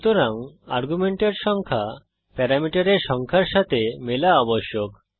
সুতরাং আর্গুমেন্টের সংখ্যা প্যারামিটারের সংখ্যার সাথে মেলা আবশ্যক